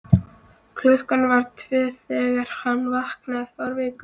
klukkan var tvö þegar hann vaknaði fárveikur.